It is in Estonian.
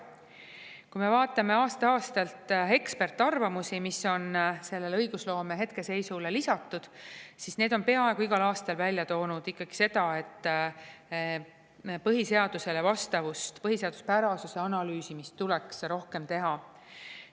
Kui me vaatame ekspertarvamusi, mis on aasta-aastalt õigusloome hetkeseisu lisatud, siis need on peaaegu igal aastal välja toonud ikkagi seda, et põhiseadusele vastavuse analüüsimist tuleks rohkem teha.